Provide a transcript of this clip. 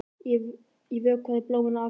Ég vökvaði blómin á Akranesi.